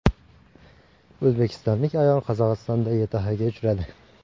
O‘zbekistonlik ayol Qozog‘istonda YTHga uchradi.